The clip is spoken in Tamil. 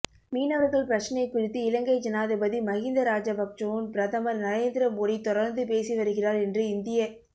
மீனவர்கள் பிரச்னை குறித்து இலங்கை ஜனாதிபதி மகிந்த ராஜபக்சவுன் பிரதமர் நரேந்திர மோடி தொடர்ந்து பேசி வருகிறார் என்று இந்திய